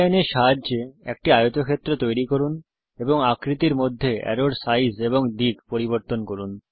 Polyline এর সাহায্যে একটি আয়তক্ষেত্র তৈরী করুন এবং আকৃতির মধ্যে অ্যারোর সাইজ এবং দিক পরিবর্তন করুন